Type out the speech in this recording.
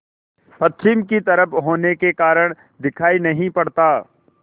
पश्चिम की तरफ होने के कारण दिखाई नहीं पड़ता